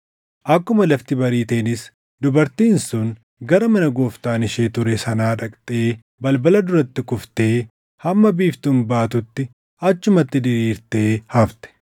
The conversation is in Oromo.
Akkuma lafti bariiteenis dubartiin sun gara mana gooftaan ishee ture sanaa dhaqxee balbala duratti kuftee hamma biiftuun baatutti achumatti diriirtee hafte.